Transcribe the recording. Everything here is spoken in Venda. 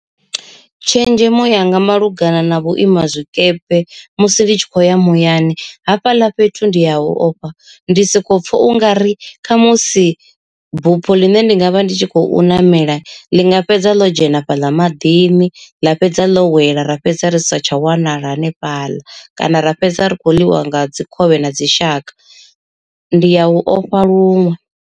Tshenzhemo yanga malugana na vhuima zwikepe musi ndi tshi khou ya muyani hafhaḽa fhethu ndi ya hu ofha, ndi soko pfha ungari khamusi bupho ḽine ndi nga vha ndi tshi khou ṋamela ḽi nga fhedza ḽo dzhena fhaḽa maḓini. Ḽa fhedza ḽo wela ra fhedza ri sa tsha wanala hanefhaḽa kana ra fhedza ri kho ḽiwa nga dzi khovhe na dzi shaka ndi ya hu ofha luṅwe.